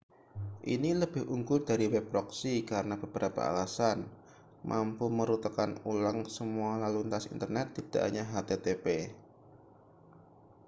ini lebih unggul dari web proxy karena beberapa alasan mampu merutekan ulang semua lalu lintas internet tidak hanya http